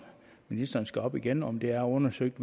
ministeren skal op igen altså om det er undersøgt